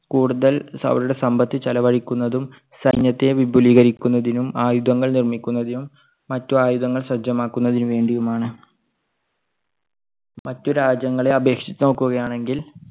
India ഏറ്റവും കൂടുതൽ അവരുടെ സമ്പത്ത് ചെലവഴിക്കുന്നതും സൈന്യത്തെ വിപുലീകരിക്കുന്നതിനും ആയുധങ്ങൾ നിർമ്മിക്കുന്നതിനും മറ്റ് ആയുധങ്ങൾ സജ്ജമാക്കുന്നതിന് വേണ്ടിയുമാണ്. മറ്റു രാജ്യങ്ങളെ അപേക്ഷിച്ച് നോക്കുകയാണെങ്കിൽ